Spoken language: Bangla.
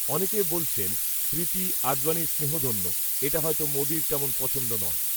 অনেকে বলছেন, স্মৃতি, আডবাণীর স্নেহধন্য, এটা হয়তো, মোদীর, তেমন পছন্দ নয়